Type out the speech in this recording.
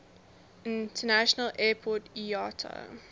international airport iata